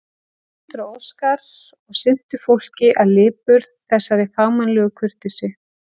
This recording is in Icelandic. Steindór og Óskar, og sinntu fólki af lipurð, þessari fagmannlegu kurteisi.